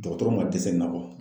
Dɔgɔtɔrɔ man dɛsɛ nin na wa?